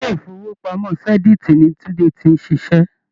Ilé-ìfowópamọ́ Zenith ni Tunde ti ń ṣiṣẹ́.